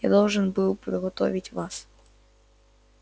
я должен был подготовить вас